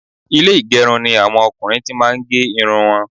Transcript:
Ilé ìgẹrun ni àwọn ọkùnrin ti máa ń gé irun wọn